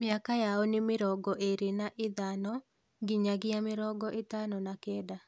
Mĩaka yao nĩ mĩrongo ĩĩri na ithano nginyagia mĩrongo ĩtano na kenda